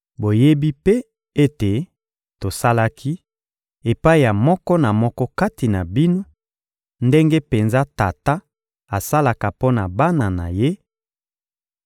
Boyebi mpe ete tosalaki, epai ya moko na moko kati na bino, ndenge penza tata asalaka mpo na bana na ye: